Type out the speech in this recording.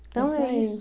Então é isso.